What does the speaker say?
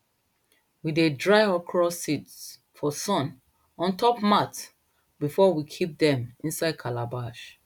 we dey dry okro seeds for sun on top mat before we kip dem inside calabash